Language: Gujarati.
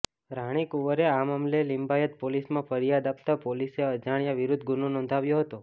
રાનીકુંવરે આ મામલે લિંબાયત પોલીસમાં ફરિયાદ આપતા પોલીસે અજાણ્યા વિરુદ્ધ ગુનો નોંધ્યો હતો